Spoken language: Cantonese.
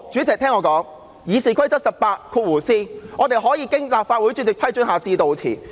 根據《議事規則》第 18b 條，議員可以經立法會主席批准致悼辭。